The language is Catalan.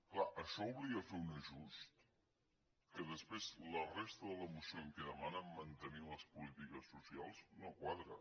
clar això obliga a fer un ajustament que després la resta de la moció en què demanen mantenir les polítiques socials no quadra